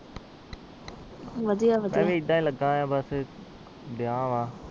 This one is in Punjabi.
ਵਧੀਆ ਵਧੀਆ